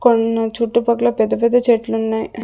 కొన్ని చుట్టుపక్కల పెద్ద పెద్ద చెట్లు ఉన్నాయి.